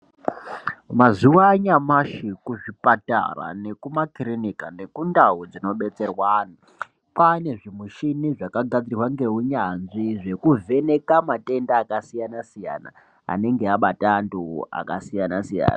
Mazuwanyashi kuzvipatara nekumakirinika nekundau dzinobetserwa anhu kwane zvimuchini zvakagadzirwa ngeunyanzvi zvekuvheneka matenda akasiyana siyana anenge avata antu akasiyana siyana.